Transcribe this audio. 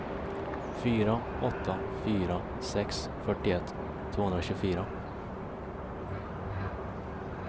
fyra åtta fyra sex fyrtioett tvåhundratjugofyra